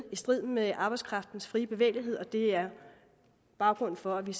strid med arbejdskraftens fri bevægelighed og det er baggrunden for at vi